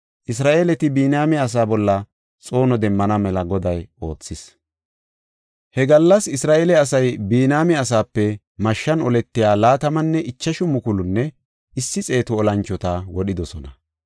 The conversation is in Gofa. Isra7eeleti Biniyaame asaa bolla xoono demmana mela Goday oothis. He gallas Isra7eele asay Biniyaame asaape mashshan oletiya laatamanne ichashu mukulunne issi xeetu olanchota wodhidosona.